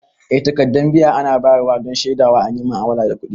Eh takaddan biya ana bayar wa don shedawa an yi mu'amala na kudi.